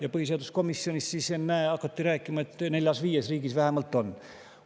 Aga põhiseaduskomisjonis, ennäe, hakati siis rääkima, et vähemalt neljas-viies riigis on.